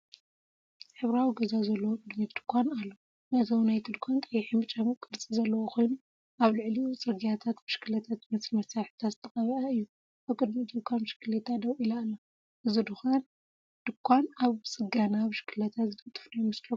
ሕብራዊ ገዛ ዘለዎ ቅድሚት ድኳን ኣሎ። መእተዊ ናይቲ ድኳን ቀይሕን ብጫን ቅርጺ ዘለዎ ኮይኑ፡ ኣብ ልዕሊኡ ጽርግያን ብሽክለታ ዝመስል መሳርሒታትን ዝተቐብአ እዩ። ኣብ ቅድሚ እቲ ድኳን ብሽክለታ ደው ኢላ ኣላ። እዚ ድኳን ኣብ ጽገና ብሽክለታ ዝነጥፍ ዶ ይመስለኩም?